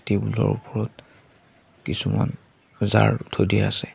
Table ৰ ওপৰত কিছুমান জাৰ থৈ দিয়া আছে।